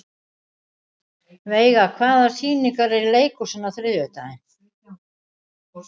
Veiga, hvaða sýningar eru í leikhúsinu á þriðjudaginn?